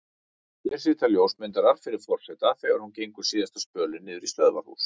Hér sitja ljósmyndarar fyrir forseta þegar hún gengur síðasta spölinn niður í stöðvarhús.